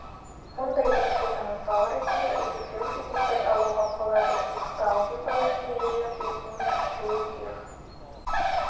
мұндай есептердің мысалы ретінде есептеуіш есептерді алуға болады сызықты алгебралық теңдеулер жүйесінің шешуі диф